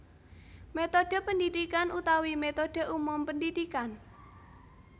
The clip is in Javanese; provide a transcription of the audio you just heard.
Métodhe pendidikan utawi métodhe umum pendidikan